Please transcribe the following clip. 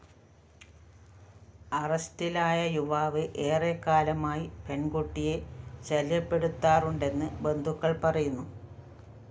അറസ്റ്റിലായ യുവാവ് ഏറെക്കാലമായി പെണ്‍കുട്ടിയെ ശല്യപ്പെടുത്താറുണ്ടെന്ന് ബന്ധുക്കള്‍ പറയുന്നു